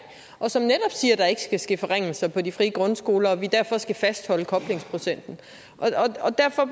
og som netop siger at der ikke skal ske forringelser på de frie grundskoler og at vi derfor skal fastholde koblingsprocenten og derfor